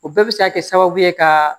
O bɛɛ bɛ se ka kɛ sababu ye ka